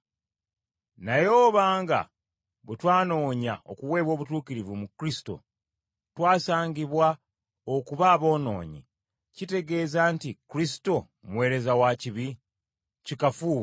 Naye oba nga bwe twanoonya okuweebwa obutuukirivu mu Kristo twasangibwa okuba aboonoonyi, kitegeeza nti Kristo muweereza wa kibi? Kikafuuwe.